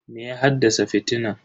Me ya haddasa fitinan?